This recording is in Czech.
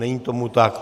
Není tomu tak.